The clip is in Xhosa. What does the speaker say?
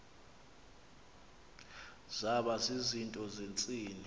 zaba zizinto zentsini